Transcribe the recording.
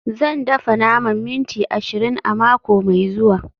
Zan dafa naman minti ashirin a mako mai zuwa